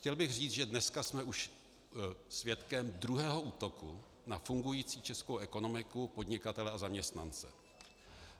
Chtěl bych říct, že dneska jsme už svědkem druhého útoku na fungující českou ekonomiku, podnikatele a zaměstnance.